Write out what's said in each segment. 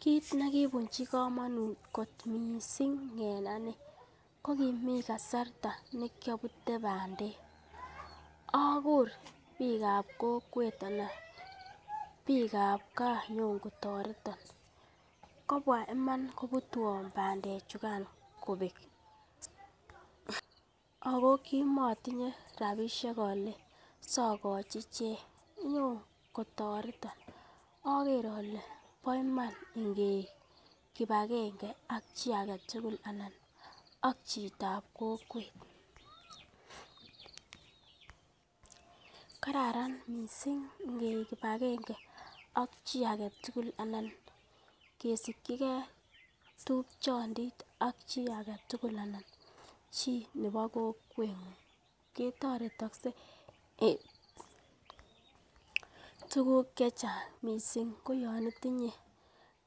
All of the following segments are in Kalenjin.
Kiit ne kibucnhi komonut kot misng en ane ko kimi kasarta ne kiobute bandek agur biikab koket ana biikab gaa konyo ko toreton, kobwa iman konyo kobutwon bandechukan kobek ago kimotinye rabishek ole siogochi ichek konyo kotoreton oger eole bo iman inge iik kipagenge ak chi age tugul anan ak chitab kokwet. Kararan mising ingeik kipagenge akchi age tugul anan ingesikige tupchondit ak chi age tugul anan chi nebi kokweng'ung ketoretokse en tuguk ch ehcnag misng koyon itinye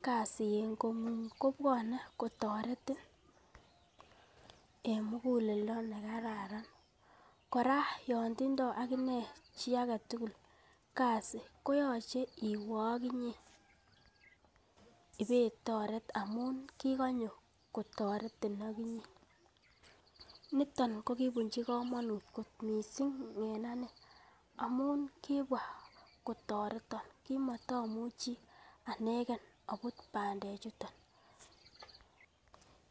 kasi en kong'ung kobwone kotoretin en muguleldo ne kararan. Kora yon tindo ak inee chi age tugul ko yoche iwe oginye ibe itoret amun kigonyo konyokotoretin ak inye. Niton ko kibunchi komonut kot misng en ane amun kibwa kotoreton kimoto amuchi anagen abut bandechuton.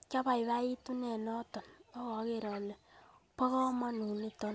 Kiabiabitunen noton ak ogere ole bo komonut.